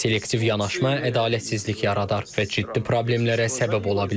Selektiv yanaşma ədalətsizlik yaradar və ciddi problemlərə səbəb ola bilər.